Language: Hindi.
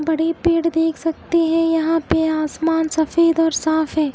बड़े पेड़ देख सकते है यहाँ पे आसमान सफ़ेद और साफ है।